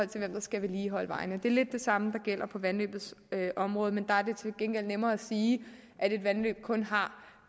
til hvem der skal vedligeholde vejene det er lidt det samme der gælder på vandløbenes område men der er det til gengæld nemmere at sige at et vandløb kun har